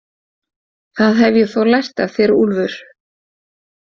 Það hef ég þó lært af þér, Úlfur